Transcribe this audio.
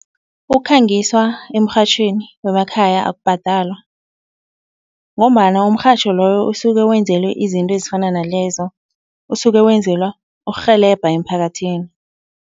Ukukhangiswa emrhatjhweni wemakhaya akubhadalwa ngombana umrhatjho loyo usuke wenzelwe izinto ezifana nalezo, usuke wenzelwa ukurhelebha emphakathini.